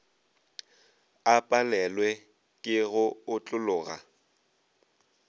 a palelwe ke go otlologa